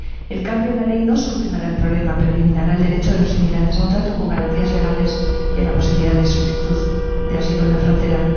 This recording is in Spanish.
El cambio en la ley no solucionará el problema, pero eliminará el derecho de los inmigrantes a un trato con garantías legales y a la posibilidad de solicitud de asilo en la frontera.